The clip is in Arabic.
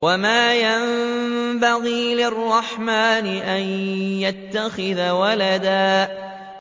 وَمَا يَنبَغِي لِلرَّحْمَٰنِ أَن يَتَّخِذَ وَلَدًا